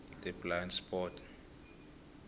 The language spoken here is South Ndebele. the blind spot